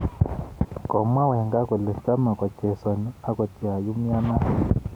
Komwa Wenger kole chame kochesani angot yaumianat